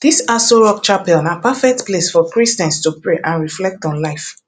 dis aso rock chapel na perfect place for christians to pray and reflect on life